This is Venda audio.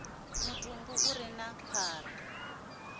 mutumbu u re na phara